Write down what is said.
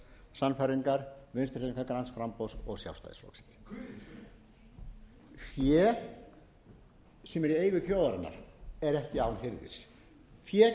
sannfæringar vinstri hreyfingarinnar græns framboðs og sjálfstæðisflokksins fé sem er í eigu þjóðarinnar er ekki án hirðis fé sem er